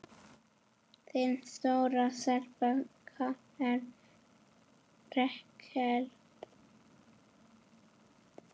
Þín stóra stelpa, Karen Rakel.